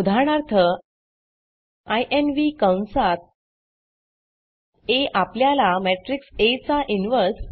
उदाहरणार्थ इन्व्ह कंसात आ आपल्याला मॅट्रिक्स आ चा इन्व्हर्स